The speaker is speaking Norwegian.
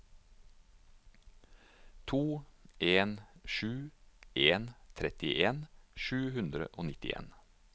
to en sju en trettien sju hundre og nittien